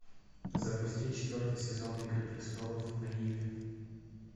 запусти четвертый сезон игры престолов на иви